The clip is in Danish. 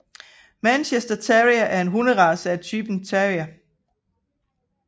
Manchester Terrier er en hunderace af typen terrier